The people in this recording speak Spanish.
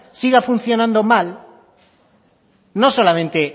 siga funcionando mal no solamente